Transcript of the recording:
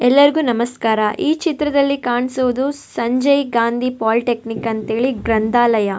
ಎಲ್ಲರಿಗು ನಮಸ್ಕಾರ ಈ ಚಿತ್ರದಲ್ಲಿ ಕಾಣಿಸೋದು ಸಂಜಯ್ ಗಾಂಧಿ ಪೋಲಿಟೆಕ್ನಿವ್ ಅಂತೇಳಿ ಗ್ರಂಥಾಲಯ.